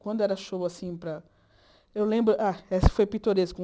Quando era show, assim, para... Eu lembro ah... Essa foi Pitoresco.